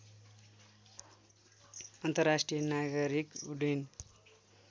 अन्तर्राष्ट्रिय नागरिक उड्डयन